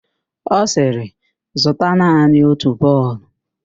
Ọ sịrị, zụta naanị otu bọọlụ!